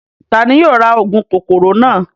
Tani yóò ra óogun kokoro naa?